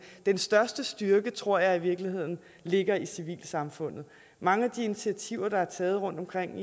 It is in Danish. den største styrke tror jeg i virkeligheden ligger i civilsamfundet mange af de initiativer der er taget rundtomkring